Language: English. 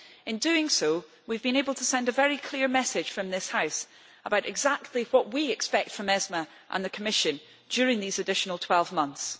In doing so we have been able to send a very clear message from this House about exactly what we expect from ESME and the Commission during these additional 12 months.